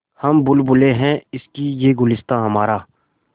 हम बुलबुलें हैं इसकी यह गुलसिताँ हमारा